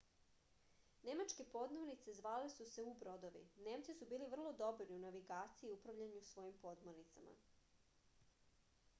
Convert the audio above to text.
nemačke podmornice zvale su se u-brodovi nemci su bili vrlo dobri u navigaciji i upravljanju svojim podmornicama